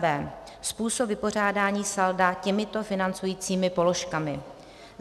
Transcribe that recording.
B. Způsob vypořádání salda těmito financujícími položkami